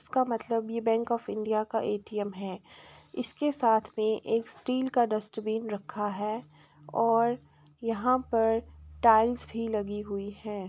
इसका मतलब ये बैंक ऑफ इंडिया का एटीएम है | इसके साथ में एक स्टील का डस्ट्बिन रखा है और यहाँ पर टाइल्स भी लगी हुई है ।